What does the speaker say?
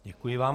Děkuji vám.